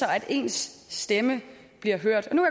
at ens stemme bliver hørt nu